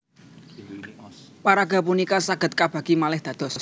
Paraga punika saged kabagi malih dados